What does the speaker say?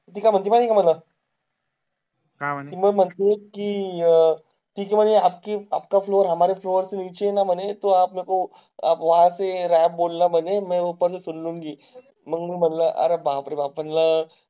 मग म्हणते की ठीक है आपकी आपकाfloorहमारे फ्लोर से नीचे हैहै ना म्हणे rap मग मी म्हणलं अरे बाप रे बाप म्हणलं